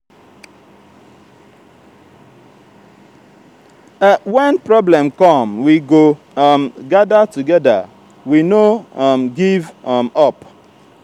wen problem come we go um gada togeda we no um give um up.